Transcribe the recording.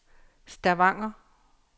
Stavanger